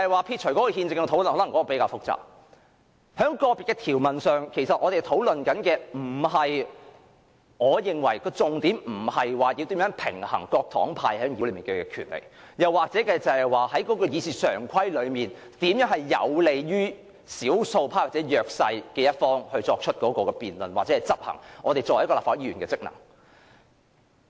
撇除憲政的討論——因為這一點較為複雜——在個別條文上，我認為我們的討論重點，並非如何平衡各黨派在議會內的權力，又或是如何使會議常規有利於少數派或弱勢一方作出辯論或執行立法會議員的職能。